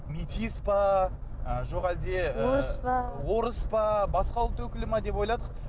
метис пе жоқ әлде орыс па орыс па басқа ұлт өкілі ме деп ойладық